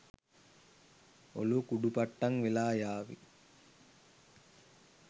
ඔළුව කුඩු පට්ටම් වෙලා යාවි.